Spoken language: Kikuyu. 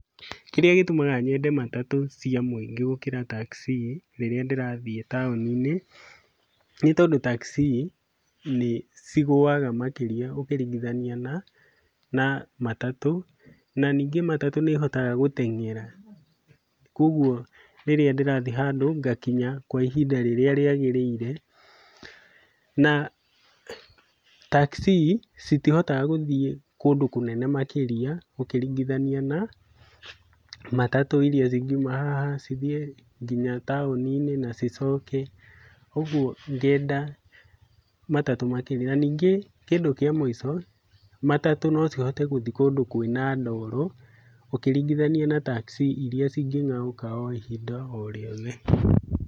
Kĩrĩa gĩtũmaga nyende matatũ cia mũingĩ gũkĩra tacii rĩrĩa ndĩrathiĩ taũni-inĩ, nĩtondũ tacii nĩcigũaga makĩria ũkĩringithania na na matatũ. Na, ningĩ matatũ nĩĩhotaga gũteng'era, kuoguo rĩrĩa ndĩrathiĩ handũ ngakinya kwa ihinda rĩrĩa rĩagĩrĩire. Na tacii citihotaga gũthiĩ kũndũ kũnene makĩria ũkĩringithania na matatũ iria cingiuma haha, cithiĩ nginya taũni-inĩ na cicoke, ũguo ngenda matatũ makĩria. Na ningĩ kĩndũ kĩa mũico, matatũ nocihote gũthiĩ kũndũ kwĩna ndoro ũkĩringithania na tacii iria cingĩng'aũka o ihinda o rĩothe.